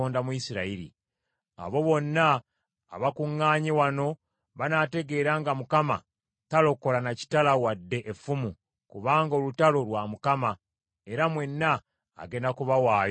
Abo bonna abakuŋŋaanye wano banaategeera nga Mukama talokola na kitala wadde effumu, kubanga olutalo, lwa Mukama era mwenna agenda kubawaayo mu mukono gwaffe.”